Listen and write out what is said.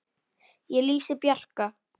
Ég lýsi Bjarka